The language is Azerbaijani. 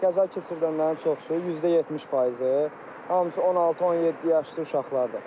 Qəza keçirənlərin çoxusu, 70 faizi hamısı 16-17 yaşlı uşaqlardır.